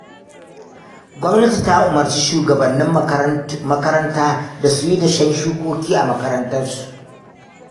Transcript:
Gwamnati ta umarci shuwagabannin makaranta da su yi dashen shukoki a makarantunsu.